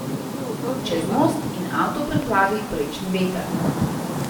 Čez most, in avto preplavi prečni veter.